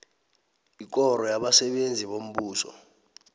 ikoro yabasebenzi bombuso